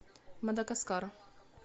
мадагаскар